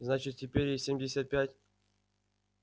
значит теперь ей семьдесят пять